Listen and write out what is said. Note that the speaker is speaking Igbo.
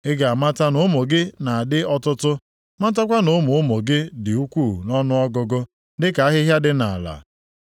Ị ga-amata na ụmụ gị ga-adị ọtụtụ, matakwa na ụmụ ụmụ gị dị ukwuu nʼọnụọgụgụ dịka ahịhịa dị nʼala.